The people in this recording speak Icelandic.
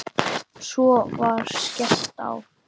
Svo var skellt á.